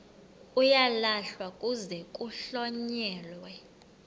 uyalahlwa kuze kuhlonyelwe